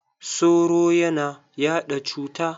Soro ya na yaɗa cuta.